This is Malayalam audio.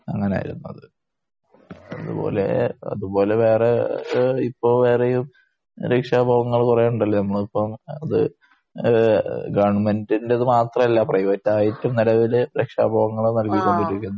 അങ്ങനാ വരുന്നത്. അത്പോലെ അത്പോലെ വേറെ ഇപ്പോ വേറെയും രക്ഷാബോധങ്ങൾ കുറെയുണ്ടല്ലോ നമ്മളിപ്പോ അത് ആ എ ഗവൺമെന്റ് ഇന്റെ മാത്രമല്ല പ്രൈവറ്റായിട്ടും നിലവില് രക്ഷാബോധങ്ങൾ നാൽകിക്കൊണ്ടിരിക്കുന്നുണ്ട്.